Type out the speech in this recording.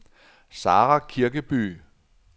Sara Kirkeby